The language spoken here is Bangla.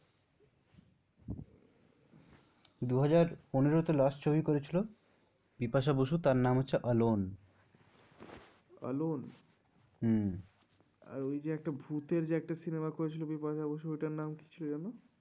দুহাজার পনেরোতে last ছবি করেছিল বিপাশা বসু তার নাম হচ্ছে অ্যালোন অ্যালোন? হম্ম। আর ওই যে একটা ভূতের যে একটা cinema করেছিল বিপাশা বসু ওইটার নাম কি ছিল যেন?